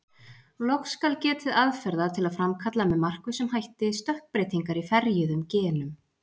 Loks skal getið aðferða til að framkalla með markvissum hætti stökkbreytingar í ferjuðum genum.